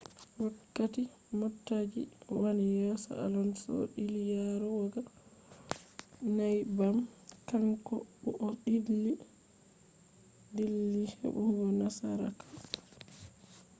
wakkati motaji wani yeso alonso dilli yarugo neybbam, kanko bu o dilli hebugo nasaraku